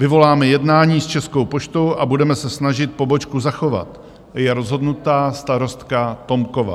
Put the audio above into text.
"Vyvoláme jednání s Českou poštou a budeme se snažit pobočku zachovat," je rozhodnuta starostka Tomková.